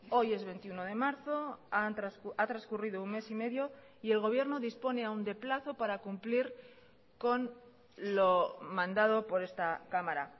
hoy es veintiuno de marzo ha transcurrido un mes y medio y el gobierno dispone aún de plazo para cumplir con lo mandado por esta cámara